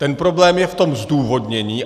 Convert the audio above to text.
Ten problém je v tom zdůvodnění.